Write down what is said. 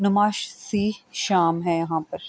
نمائش سی شام ہے یہاں پر--